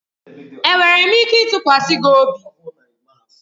Enwere m ike ịtụkwasị gị obi?